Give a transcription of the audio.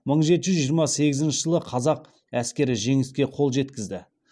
мың жеті жүз жиырма сегізінші жылы қазақ әскері жеңіске қол жеткізді